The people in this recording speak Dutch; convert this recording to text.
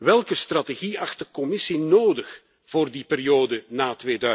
Welke strategie acht de Commissie nodig voor die periode na